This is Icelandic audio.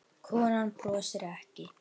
Konan brosir ekki.